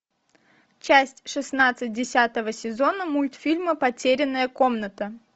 часть шестнадцать десятого сезона мультфильма потерянная комната